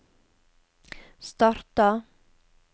starta